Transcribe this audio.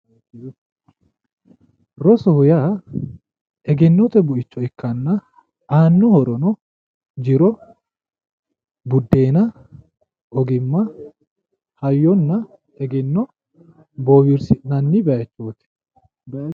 Rosoho yaa egennote buicho ikkanna aano horono jiro, budenna, ogimma, hayyonna egenno bowirsi'nanni bayichoti